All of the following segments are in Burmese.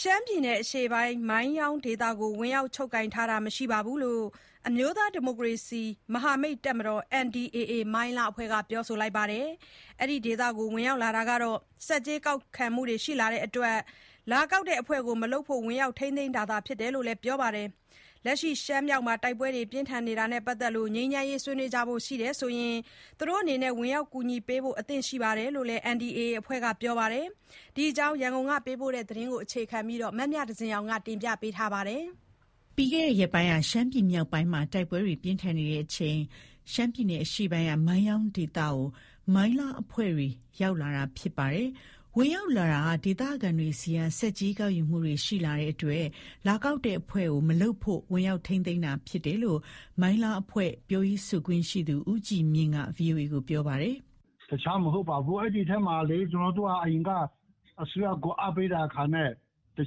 ရှမ်းပြည်နယ် အရှေ့ပိုင်းက မိုင်းယောင်းဒေသကို ဝင်ရောက်ချုပ်ကိုင်ထားတာ မရှိဘူးလို့ အမျိုးသားဒီမိုကရေစီ မဟာမိတ် တပ်မတော် NDAA က ပြောဆိုလိုက်ပါတယ်။ အဲဒီဒေသကို ဝင်ရောက်လာတာက ဆက်ကြေးကောက်ယူမှုတွေ ရှိလာတဲ့အတွက် လာကောက်တဲ့အဖွဲ့ကို မလုပ်ဖို့ ဝင်ရောက် ထိန်းသိမ်းတာ ဖြစ်တယ်လို့ ပြောပါတယ်။ လက်ရှိ ရှမ်းမြောက်မှာ တိုက်ပွဲတွေပြင်းထန်နေမှုနဲ့ ပတ်သက်လို့ ငြိမ်းချမ်းရေးဆွေးနွေးကြဖို့အတွက် ဝင်ရောက်ကူညီပေးဖို့လည်း အသင့်ရှိတယ်လို့ NDAA အဖွဲ့က ပြောဆိုပါတယ်။ ဒီအကြောင်း ရန်ကုန်က ပေးပို့တဲ့သတင်းကို အခြေခံပြီး မမြသဇင်အောင်က တင်ပြပေးပါမယ်။ ပြီးခဲ့တဲ့ ရက်ပိုင်းက ရှမ်းပြည်မြောက်ပိုင်းမှာ တိုက်ပွဲတွေပြင်းထန်နေချိန် ရှမ်းပြည်နယ် အရှေ့ပိုင်းကမိုင်းယောင်းဒေသကို မိုင်းလားအဖွဲ့တွေ ရောက်ရှိလာတာ ဖြစ်ပါတယ်။ ဝင်ရောက်လာတာက ဒေသခံတွေဆီက ဆက်ကြေး ကောက်ယူမှုတွေရှိလာတဲ့အတွက် လာကောက်တဲ့အဖွဲ့ကို မလုပ်ဖို့ ဝင်ရောက် ထိန်းသိမ်းတာဖြစ်တယ်လို့ မိုင်းလား အဖွဲ့ပြောရေးဆိုခွင့်ရှိသူ ဦးကြည်မြင့်က ဗွီအိုအေကိုပြောပါတယ်။ တခြားမဟုတ်ပါဘူး။ အရင်ထဲက အစိုးရကို အားပေးတဲ့အခံနဲ့ တ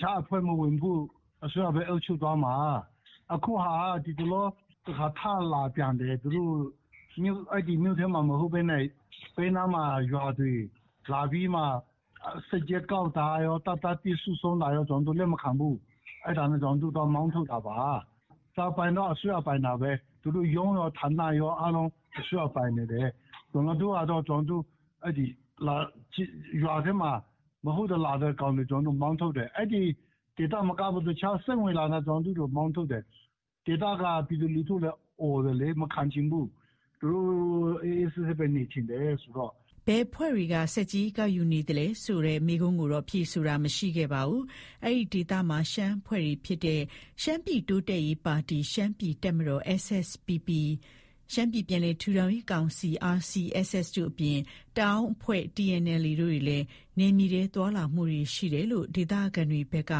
ခြားအဖွဲ့မဝင်ဘူး။ အစိုးရဘဲအုပ်ချုပ်သွားမှာ။ ခုဟာက ဒီတလော ထလာပြန်တယ်။ သူတို့ မြို့ထဲမှာမဟုတ်ဘဲနဲ့ ဘေးနားမှာ၊ ရွာတွေမှာ ဆက်ကြေးကောက်တာ၊ တပ်သားသစ်စုလာတာတွေ ကျနော်တို့ လက်မခံဘူး။ အဲဒါနဲ့ ကျနော်တို့မောင်း ထုတ်တာပါ။ ပိုင်တာကတော့ အစိုးရ ပိုင်တာဘဲ။ သူတို့ရုံးဌာနကော အစိုးရပိုင်ပါတယ်။ ကျနော်တို့ကတော့ ရွာထဲမှာ မဟုတ်တာ လာလုပ်တဲ့ကောင်တွေ ကျနော်တို့မောင်းထုတ်တယ်။ ဒေသထဲ စိမ့်ဝင်လာတဲ့သူတွေ ကိုမောင်းထုတ် တယ်။ ဒေသခံပြည်သူက အော်တယ်လေ မခံချင်ဘူး။ သူတို့အေးအေးဆေးဆေးဘဲနေချင်တယ်ဆိုတော့။ ဘယ်အဖွဲ့တွေက ဆက်ကြေးကောက်ယူနေသလဲလို့ မေးခွန်ကိုတော့ ဖြေဆိုတာ မရှိခဲ့ပါဘူး။ အဲဒီဒေသမှာ ရှမ်းအဖွဲ့တွေဖြစ်တဲ့ ရှမ်းပြည်တိုးတက်ရေးပါတီ/ရှမ်းပြည်တပ်မတော် SSPP ၊ ရှမ်းပြည်ပြန်လည်ထူထောင်ရေးကောင်စီ RCSS တို့အပြင် တအောင်းအဖွဲ့TNLA တို့တွေလည်း နယ်မြေထဲ သွားလာမှုတွေ ရှိနေတယ်လို့ ဒေသခံတွေ ဘက်က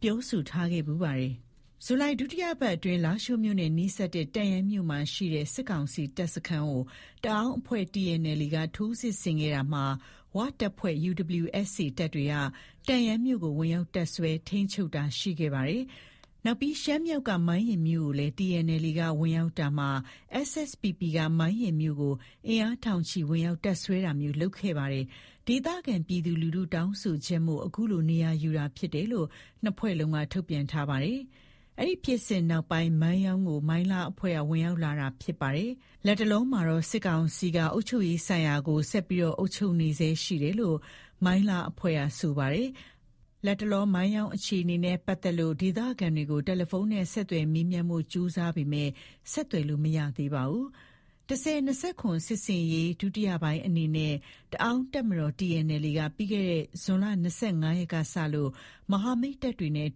ပြောဆို ထားခဲ့ဖူးပါတယ်။ ဇူလိုင်လ ဒုတိယပတ်အတွင်း လားရှိုးမြို့နဲ့နီးစပ်တဲ့ တန့်ယန်းမြို့မှာရှိတဲ့ စစ်ကောင်စီတပ်စခန်းကို တအောင်းအဖွဲ့ TNLAက ထိုးစစ်ဆင်ခဲ့တာမှာ ၀တပ်ဖွဲ့ တပ်တွေက တန့်ယန်းမြို့ကို ဝင်ရောက် တပ်စွဲ ထိန်းချုပ်တာ ရှိခဲ့ပါတယ်။ နောက်ပြီး ရှမ်းမြောက်က မိုင်းရယ်မြို့ကိုလည်း TNLA က ဝင်ရောက်လာတာမှာ SSPP က မိုင်းရယ်မြို့ကို အင်အားထောင်ချီ ဝင်ရောက်တပ်စွဲတာမျိုး လုပ်ခဲ့ပါတယ်။ ဒေသခံ ပြည်သူလူထု တောင်းဆိုချက်မို့ အခုလို နေရာယူခဲ့တာ ဖြစ်တယ်လို့ ၂ဖွဲ့စလုံးက ထုတ်ပြန်ထားပါတယ်။ အဲဒီဖြစ်စဉ်နောက်ပိုင်း မိုင်းယောင်း ကို မိုင်းလားအဖွဲ့က ဝင်ရောက်လာတာဖြစ်လာတာဖြစ်ပါတယ်။ လတ်တလောမှာတော့ စစ်ကောင်စီက အုပ်ချုပ်ရေးဆိုင်ရာကို ဆက်လက် အုပ်ချုပ်နေဆဲရှိတယ်လို့ မိုင်းလားအဖွဲ့က ဆိုပါတယ်။ လတ်တလောမှာတော့ မိုင်းယောင်း အခြေအနေနဲ့ ပတ်သတ်လို့ ဒေသခံတွေကို တယ်လီဖုန်းနဲ့ ဆက်သွယ် မေးမြန်းဖို့ ကြိုးစားခဲ့ပေမယ့် ဆက်သွယ်လို့ မရသေးပါဘူး။ ၁၀၂၇ စစ်ဆင်ရေး ဒုတိယပိုင်းအနေနဲ့ တအောင်းတပ်မတော် က ပြီးခဲ့တဲ့ ဇွန်လ ၂၅ရက်ကစလို့ မဟာမိတ် တပ်တွေနဲ့အ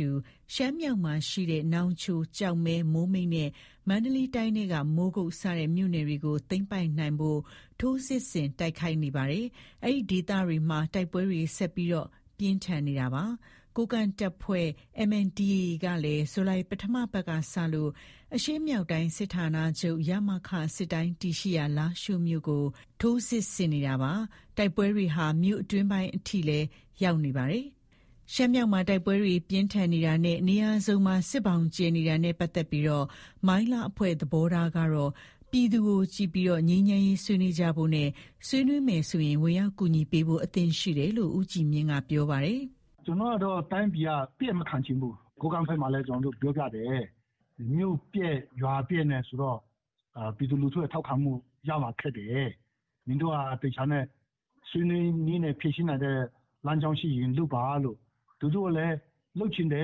တူ ရှမ်းမြောက်မှာရှိတဲ့ နောင်ချို၊ ကျောက်မဲ၊ မိုးမိတ်နဲ့ မန္တလေးတိုင်းထဲက မိုးကုတ်စတဲ့မြို့နယ်တွေကို သိမ်းပိုက်နိုင်ဖို့ ထိုးစစ်ဆင် တိုက်ခိုက် နေပါတယ်။ အဲဒီဒေသတွေမှာ တိုက်ပွဲတွေ ဆက်လက်ပြင်းထန်လျက်ရှိနေတာပါ။ ကိုးကန့်တပ်ဖွဲ့ ကလည်း ဇူလိုင် ပထမပတ်ကစလို့ အရှေ့မြောက်တိုင်းစစ်ဌာနချုပ် စစ်တိုင်းတည်ရှိရာ လားရှိုးမြို့ကို ထိုးစစ်ဆင်နေလျက် ရှိပါတယ်။ တိုက်ပွဲတွေဟာ မြို့အတွင်းပိုင်းထိပါ ရောက်လာနေတာပါ။ ရှမ်းမြောက်မှာ တိုက်ပွဲတွေပြင်းထန်နေမှုနဲ့ နေရာစုံမှာ စစ်ဘောင်ကျယ်နေတာနဲ့ ပတ်သက်လို့ မိုင်းလားအဖွဲ့ သဘောထားကတော့ ပြည်သူကိုကြည့်ကာ ငြိမ်းချမ်းရေးဆွေးနွေးကြဖို့ နဲ့ ဆွေးနွေးမယ်ဆိုရင် ဝင်ရောက် ကူညီပေးဖို့ အသင့်ရှိတယ်လို့ မိုင်းလား အဖွဲ့ပြောရေးဆိုခွင့်ရှိသူ ဦးကြည်မြင့်ကပြောပါတယ်။ တိုင်းပြည်ကို အပျက်မခံချင်ဘူး။ ကိုးကန့်ဘက်မှာလည်း ကျနော်တို့ ပြောပြတယ်။ မြို့ပျက်ရွာ ပျက်ဆိုရင်တော့ ပြည်သူလူထု ထောက်ခံမှုရဖို့ ခက်တယ်။ နင်တို့က သေချာတဲ့၊ ဆွေးနွေးညှိုနှိုင်းနိုင်တဲ့ လမ်းကြောင်း ရှိရင်လုပ်ပါလို့။ လူထုကိုလည်း လုပ်ချင်တယ်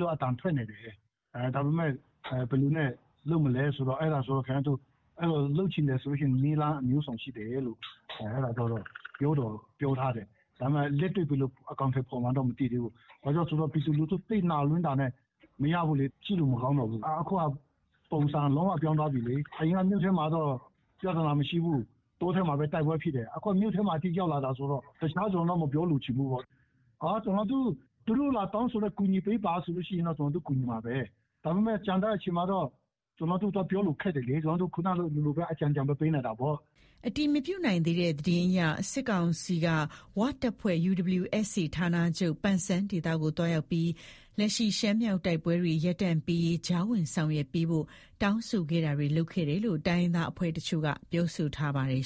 လို့ အသံထွက်နေတယ်။ ဒါပေမယ့် ဘယ်သူနဲ့လုပ်မလဲပေါ့၊ လုပ်ချင်တယ်ဆို နည်းလမ်းမျိုးစုံရှိတယ်လို့ အဲလိုတော့ ပြောတော့ပြောထားတယ်။ လက်တွေ့ ဘယ်လို အကောင်အထည်ဖော်မလဲတော့ မသိသေးဘူး။ ပြည်သူလူထု သိပ်နာလွန်းတာ မရဘူးလေ၊ အခုက ကြည့်လို့ မကောင်းတော့ဘူး။ ပုံစံလုံးဝပြောင်းသွားပြီလေ။ အရင်က မြို့ထဲမှာတော့ ပြဿနာမရှိဘူး၊ တောထဲမှာဘဲ တိုက်ပွဲဖြစ်တယ်ဆိုတော့ တခြား ဘာမှ မပြောချင်တော့ဘူး။ ကျနော်တို့ သူတို့ဘက်က ကူညီပေးပါလို့ လာတောင်းဆိုရင်တော့ ကျနော်တို့ ကူညီမှာဘဲ။ ကျန်တဲ့အချိန်ကျတော့ ကျနော်တို့ ပြောဖို့ခက်တယ်လေ၊ အကြံညဏ်ဘဲပေးနိုင်တာပေါ့။ အတည်မပြုနိုင်သေးတဲ့ သတင်းအရ စစ်ကောင်စီက ဝတပ်ဖွဲ့ ဌာနချုပ် ပန်ဆန်းဒေသကို သွားရောက်ပြီး လက်ရှိ ရှမ်းမြောက်တိုက်ပွဲတွေ ရပ်တန့်ပေးရေး ကြားဝင်ဆောင်ရွက်ပေးဖို့ တောင်းဆိုခဲ့တာတွေ လုပ်ခဲ့တယ်လို့ တိုင်းရင်းသားအဖွဲ့တချို့က ပြောဆိုထားပါတယ်